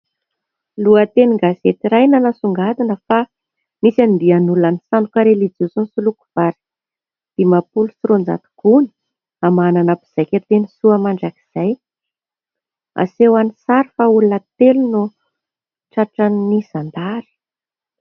Lohateny gazety iray nanasongadina fa nisy "Andian'olona nisandoka ho relijiozy nisoloky vary dimampolo sy roanjato gony hamahanana mpizaika teny Soamandrakizay " aseho any sary fa olona telo no tratran'ny zandary.